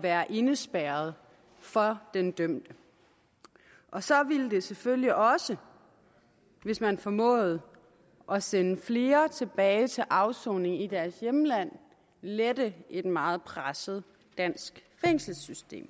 være indespærret for den dømte og så ville det selvfølgelig også hvis man formåede at sende flere tilbage til afsoning i deres hjemland lette et meget presset dansk fængselssystem